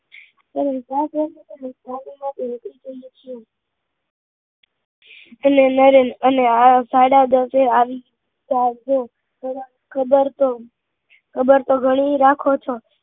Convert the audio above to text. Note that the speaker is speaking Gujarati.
અને નરેન હા સાડા દસે આવી જજો ખબર તો ખબર તો ગણી એ રાખો છો